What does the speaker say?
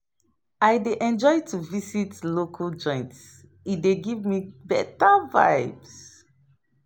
I dey enjoy to visit local joints; e dey give me beta vibes.